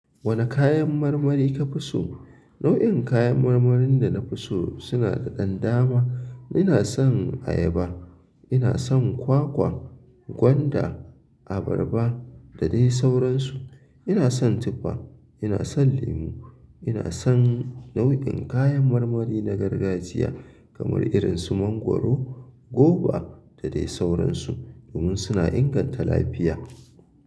Wane kayan marmari ka fi so? Nau'in kayan marmarin da na fi so suna da ɗan dama. Ina son ayaba, ina son kwakwa, gwanda, abarba da dai sauransu. Ina son tufa, ina son lemu, ina son nau'in kayan marmari na gargajiya kamar irin su mangwaro, goba da dai sauransu domin suna inganta lafiya.